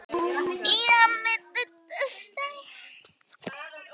Stundum komu orð og jafnvel heilar setningar á latínu.